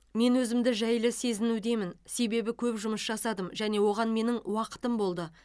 мен өзімді жайлы сезінудемін себебі көп жұмыс жасадым және оған менің уақытым болды